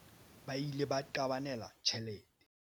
ba ile ba qabanela tjhelete